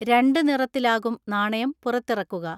രണ്ട് നിറത്തിലാകും നാണയം പുറത്തിറക്കുക.